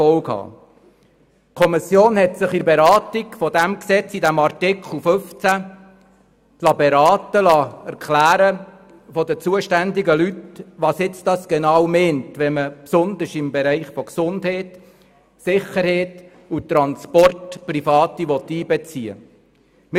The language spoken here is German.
Die Kommission hat sich bei der Beratung dieses Gesetzes zu Artikel 15 von den zuständigen Personen instruieren lassen, was damit genau gemeint ist, wenn man besonders im Bereich von Gesundheit, Sicherheit und Transport Private einbeziehen will.